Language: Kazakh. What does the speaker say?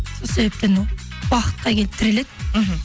сол себептен ол уақытқа келіп тіреледі мхм